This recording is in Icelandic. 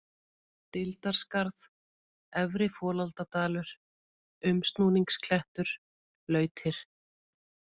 Deildarskarð, Efri-Folaldadalur, Umsnúningsklettur, Lautir